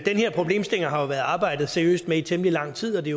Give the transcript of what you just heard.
den her problemstilling har der været arbejdet seriøst med i temmelig lang tid og det